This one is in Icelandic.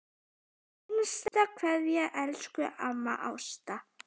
HINSTA KVEÐJA Elsku amma Ásta.